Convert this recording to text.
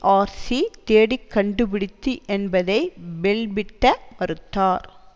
TRC தேடிக் கண்டுபிடித்து என்பதை பெல்பிட்ட மறுத்தார்